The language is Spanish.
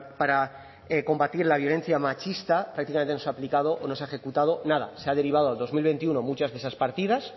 para combatir la violencia machista prácticamente no se ha aplicado o no se ha ejecutado nada se ha derivado al dos mil veintiuno muchas de esas partidas